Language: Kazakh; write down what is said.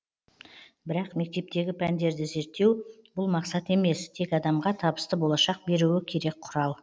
бірақ мектептегі пәндерді зерттеу бұл мақсат емес тек адамға табысты болашақ беруі керек құрал